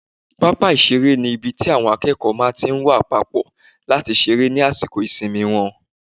Pápá ìseré ni ibi tí àwọn akẹ́kọ̀ọ́ máa tí n wá papọ̀ láti seré ní àsìkò ìsinmi wọn